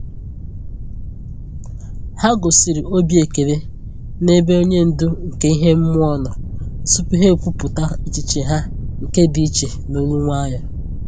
Ha gosịrị obi ekele n'ebe onye ndu nke ihe mmụọ nọ tupu ha ekwupọta echiche ha nke dị iche n'olu nwayọ.